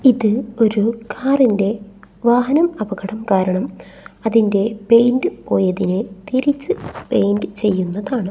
ഇത് ഒരു കാറിന്റെ വാഹനം അപകടം കാരണം അതിന്റെ പെയിന്റ് പോയതിനെ തിരിച്ച് പെയിന്റ് ചെയ്യുന്നതാണ്.